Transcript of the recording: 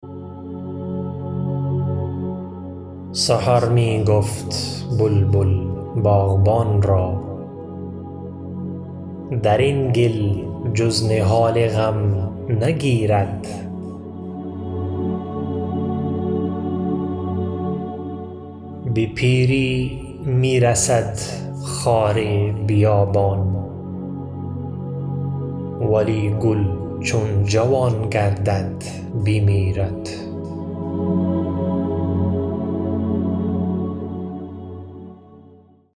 سحر می گفت بلبل باغبان را درین گل جز نهال غم نگیرد به پیری میرسد خار بیابان ولی گل چون جوان گردد بمیرد